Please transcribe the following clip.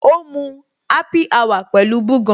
O ń mu happy hour pẹ̀lú búgan.